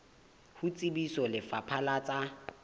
ho tsebisa lefapha la tsa